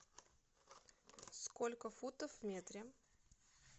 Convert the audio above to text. сколько футов в метре